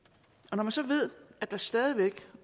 man så ved at der stadig væk